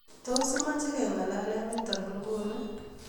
Tos imache kengalale nitok Ng'uni